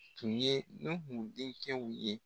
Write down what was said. Tun ye Nuhun dencɛw ye.